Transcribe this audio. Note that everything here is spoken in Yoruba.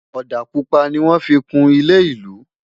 òdà pupa ní wọn fí kún ilé ìlú